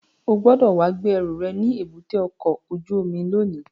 O gbọ́dọ̀ wá gbé ẹrù rẹ̀ ní èbúté ọkọ̀ ojú omi lónìí!